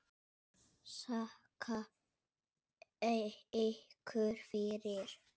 Þakka ykkur fyrir!